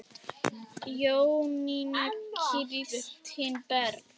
Jónína Kristín Berg.